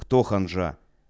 кто ханжа